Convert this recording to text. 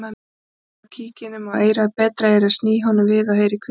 Ég bregð kíkinum á eyrað betra eyrað sný honum við og heyri hvíslað